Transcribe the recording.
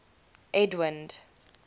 edwind